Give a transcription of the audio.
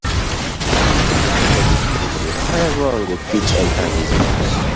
People plenty for dis place oo, how everyone go fit enter dis bus?